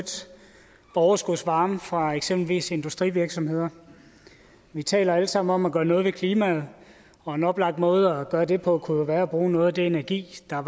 overskudsvarme fra eksempelvis industrivirksomheder vi taler alle sammen om at gøre noget ved klimaet og en oplagt måde at gøre det på kunne jo være at bruge noget af den energi der